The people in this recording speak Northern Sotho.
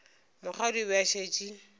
mokgadi o be a šetše